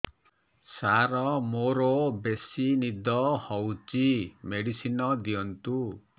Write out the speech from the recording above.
ସାର ମୋରୋ ବେସି ନିଦ ହଉଚି ମେଡିସିନ ଦିଅନ୍ତୁ